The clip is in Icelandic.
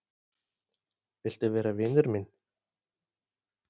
Viltu vera vinur minn